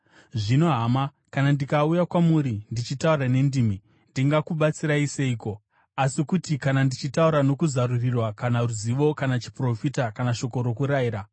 Zvino hama, kana ndikauya kwamuri ndichitaura nendimi, ndingakubatsirai seiko, asi kuti kana ndichitaura nokuzarurirwa kana ruzivo kana chiprofita kana shoko rokurayira?